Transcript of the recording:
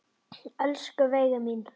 Elsku Veiga mín.